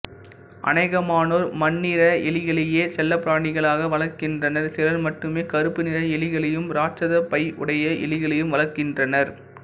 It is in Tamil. அநேகமானோர் மண்ணிற எலிகளையே செல்லப்பிராணிகளாக வளர்க்கின்றனர் சிலர் ம்ட்டுமே கறுப்பு நிற எலிகளையும் இராட்சத பை உடைய எலிகளையும் வளர்க்கின்றனர்